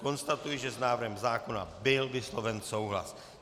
Konstatuji, že s návrhem zákona byl vysloven souhlas.